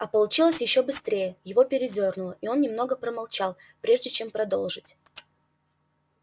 а получилось ещё быстрее его передёрнуло и он немного помолчал прежде чем продолжить